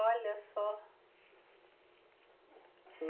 Olha só.